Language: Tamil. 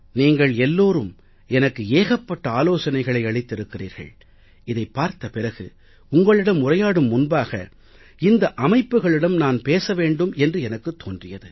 நீங்கள் எல்லோரும் எனக்கு ஏகப்பட்ட ஆலோசனைகளை அளித்திருக்கிறீர்கள் இதைப் பார்த்த பிறகு உங்களிடம் உரையாடும் முன்பாக இந்த அமைப்புக்களிடம் நான் பேச வெண்டும் என்று எனக்குத் தோன்றியது